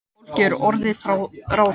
Fólkið er orðið ráðþrota